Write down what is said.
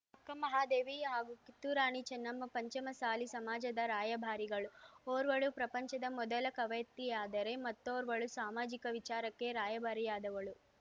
ಅಕ್ಕಮಹಾದೇವಿ ಹಾಗೂ ಕಿತ್ತೂರರಾಣಿ ಚೆನ್ನಮ್ಮ ಪಂಚಮಸಾಲಿ ಸಮಾಜದ ರಾಯಭಾರಿಗಳು ಓರ್ವಳು ಪ್ರಪಂಚದ ಮೊದಲ ಕವಯತ್ರಿಯಾದರೆ ಮತ್ತೊರ್ವಳು ಸಾಮಾಜಿಕ ವಿಚಾರಕ್ಕೆ ರಾಯಭಾರಿಯಾದವಳು